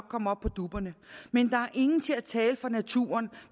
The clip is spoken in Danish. komme op på dupperne men der er ingen til at tale for naturen